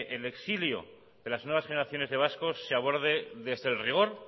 el exilio de las nuevas generaciones de vascos se aborde desde el rigor